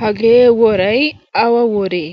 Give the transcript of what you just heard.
hagee worai awa woree?